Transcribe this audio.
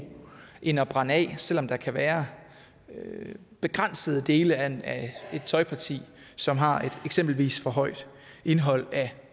end at brænde af selv om der kan være begrænsede dele af et tøjparti som har et eksempelvis for højt indhold af